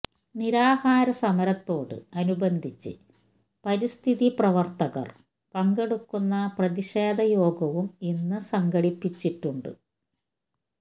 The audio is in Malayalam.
നിരാഹാര സമരത്തോട് അനുബന്ധിച്ച് പരിസ്ഥിതി പ്രവര്ത്തകര് പങ്കെടുക്കുന്ന പ്രതിഷേധ യോഗവും ഇന്ന് സംഘടിപ്പിച്ചിട്ടുണ്ട്